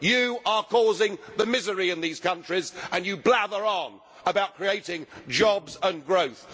You are causing the misery in these countries and you blather on about creating jobs and growth.